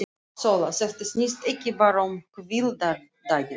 SÓLA: Þetta snýst ekki bara um hvíldardaginn.